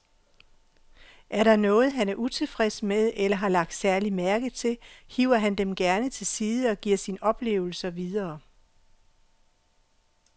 Er der noget, han er utilfreds med eller har lagt særlig mærke til, hiver han dem gerne til side og giver sine oplevelser videre.